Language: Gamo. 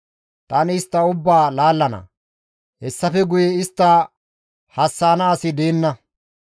Tani istta ubbaa laallana; Hessafe guye istta hassa7ana asi deenna.